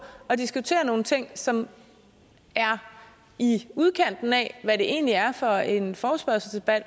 at diskutere nogle ting som er i udkanten af hvad det egentlig er for en forespørgselsdebat